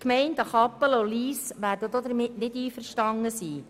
Die Gemeinden Kappelen und Lyss werden damit aber nicht einverstanden sein.